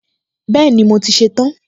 Bẹ́ẹ̀ni, mo ti ṣe tán